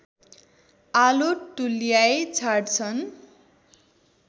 आलो तुल्याई छाड्छन्